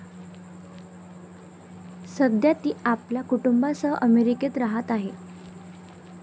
सध्या ती आपल्या कुटुंबासह अमेरिकेत राहात आहे.